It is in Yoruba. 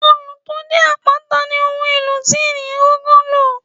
Òòlù tó jẹ́ àpáta ní ohun èlò tí ènìyàn kọ́kọ́ lò.